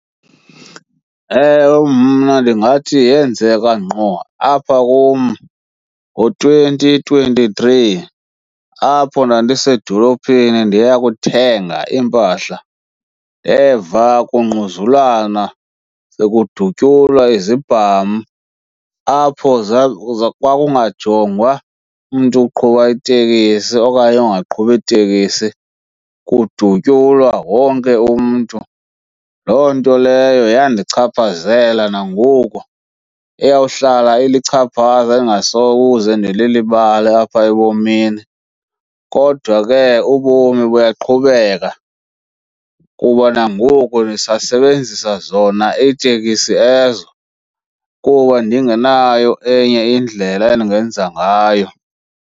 Ewe, mna ndingathi yenzeka ngqo apha kum ngo-twenty twenty-three apho ndandisedolophini ndiyokuthenga iimpahla. Ndeva kungquzulwana sekudutyula izibham, apho kwakungajongwa umntu oqhuba itekisi okanye ongaqhubi itekisi, kudutyulwa wonke umntu. Loo nto leyo yandichaphazela nangoku, iyawuhlala ilichaphaza endingasoze ndilulibale apha ebomini. Kodwa ke ubomi buyaqhubeka kuba nangoku ndisasebenzisa zona iitekisi ezo kuba ndingenayo enye indlela endingenza ngayo.